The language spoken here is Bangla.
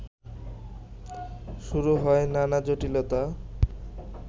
শুরু হয় নানা জটিলতা